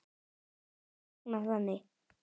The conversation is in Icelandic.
er reiknað þannig